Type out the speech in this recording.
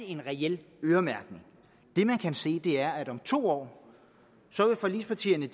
en reel øremærkning det man kan se er at om to år vil forligspartierne